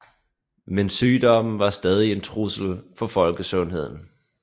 Men sygdommen var stadig en trussel for folkesundheden